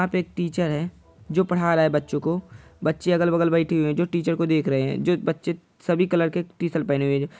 आप एक टीचर है जो पढ़ा रहे है बच्चों को बच्चे अगल-बगल बैठे हुए हैं जो टीचर को देख रहे हैं जो बच्चे सभी कलर के टीशन पहने हुए हैं।